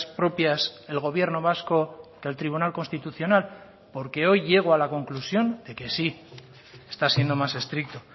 propias el gobierno vasco que el tribunal constitucional porque hoy llego a la conclusión de que sí está siendo más estricto